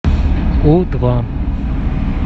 у два